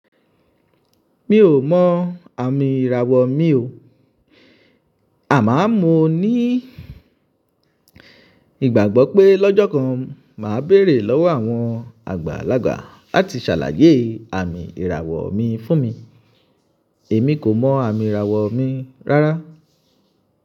Mi ò mọ àmì ìràwọ̀ mi o. Àmọ mo ní, ìgbàgbọ́ pé lọ́jọ́ kan màá béèrè lọ́wọ́ àwọn àgbàlagbà láti ṣàlàyé àmì ìràwọ̀ mi fún mi. Èmi kò mọ àmì ìràwọ̀ mi rárá.